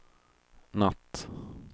natt